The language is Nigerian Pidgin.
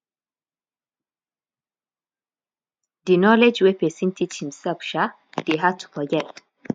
di knowledge wey pesin teach himsef um dey hard to forget